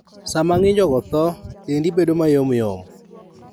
Sama ng'injogo tho, dendi bedo mayomyom.